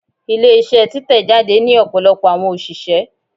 Ile-iṣẹ titẹjade ni ọpọlọpọ awọn oṣiṣẹ